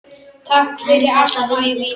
Takk fyrir allt, Mæja mín.